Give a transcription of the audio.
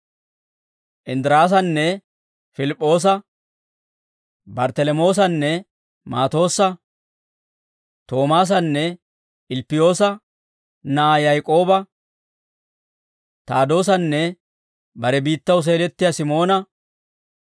Inddiraasanne Pilip'p'oosa, Barttalamoosanne Maatoossa, Toomaasanne Ilppiyoosa na'aa Yaak'ooba, Taadoosanne bare biittaw seelettiyaa Simoona,